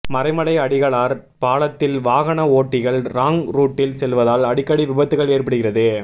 மறைமலை அடிகளார் பாலத்தில் வாகன ஓட்டிகள் ராங் ரூட்டில் செல்வதால் அடிக்கடி விபத்துகள் ஏற்படுகிறது